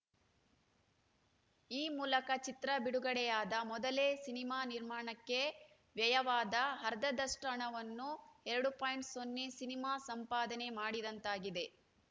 ಈ ಮೂಲಕ ಚಿತ್ರ ಬಿಡುಗಡೆಯಾದ ಮೊದಲೇ ಸಿನಿಮಾ ನಿರ್ಮಾಣಕ್ಕೆ ವ್ಯಯವಾದ ಅರ್ಧದಷ್ಟುಹಣವನ್ನು ಎರಡು ಪಾಯಿಂಟ್ ಸೊನ್ನೆ ಸಿನಿಮಾ ಸಂಪಾದನೆ ಮಾಡಿದಂತಾಗಿದೆ